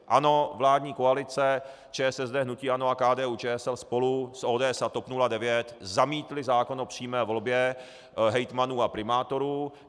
Ano, vládní koalice, ČSSD, hnutí ANO a KDU-ČSL spolu s ODS a TOP 09 zamítly zákon o přímé volbě hejtmanů a primátorů.